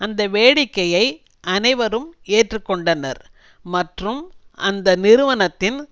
அந்த வேடிக்கையை அனைவரும் ஏற்று கொண்டனர் மற்றும் அந்த நிறுவனத்தின்